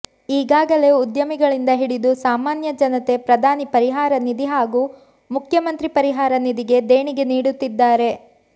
ಈಗಾಗಲೇ ಉದ್ಯಮಿಗಳಿಂದ ಹಿಡಿದು ಸಾಮಾನ್ಯ ಜನತೆ ಪ್ರಧಾನಿ ಪರಿಹಾರ ನಿಧಿ ಹಾಗೂ ಮುಖ್ಯಮಂತ್ರಿ ಪರಿಹಾರ ನಿಧಿಗೆ ದೇಣಿಗೆ ನೀಡುತ್ತಿದ್ದಾರೆ